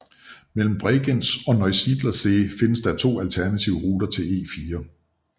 Mellem Bregenz og Neusiedler See findes der to alternative ruter til E4